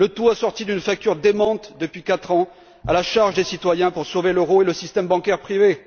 Le tout assorti d'une facture démente depuis quatre ans à la charge des citoyens pour sauver l'euro et le système bancaire privé.